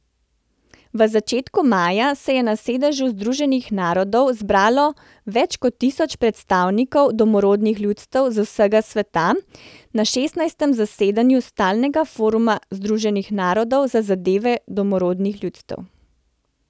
V začetku maja se je na sedežu Združenih narodov zbralo več kot tisoč predstavnikov domorodnih ljudstev z vsega sveta na šestnajstem zasedanju stalnega foruma Združenih narodov za zadeve domorodnih ljudstev.